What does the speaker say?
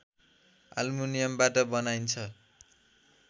आल्मुनियमबाट बनाइन्छ